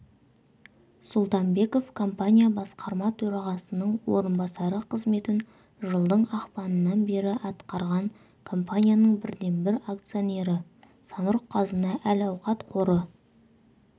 сұлтанбеков компания басқарма төрағасының орынбасары қызметін жылдың ақпанынан бері атқарған компанияның бірден-бір акционері самұрық-қазына әл-ауқат қоры